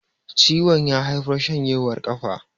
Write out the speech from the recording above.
ciwon ya haifar shanjewar kafa